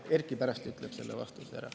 Erkki pärast ütleb selle vastuse.